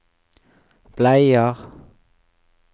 bleier